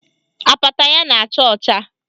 Apata ya na-acha ọcha